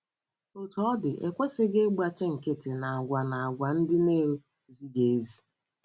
Otú ọ dị, e kwesịghị ịgbachi nkịtị n’àgwà n’àgwà ndị na - ezighị ezi.